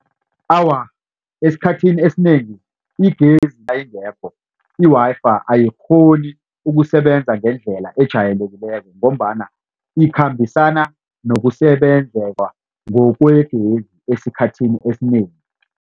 Awa esikhathini esinengi igezi nayingekho i-Wi-Fi ayikghoni ukusebenza ngendlela ejayelekileko ngombana ikhambisana nokusebenzela ngokwegezi esikhathini esinengi.